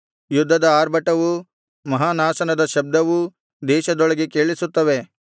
ಯುದ್ಧದ ಆರ್ಭಟವೂ ಮಹಾನಾಶನದ ಶಬ್ದವೂ ದೇಶದೊಳಗೆ ಕೇಳಿಸುತ್ತವೆ